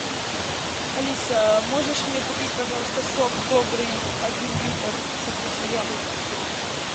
алиса можешь мне купить пожалуйста сок добрый один литр со вкусом яблока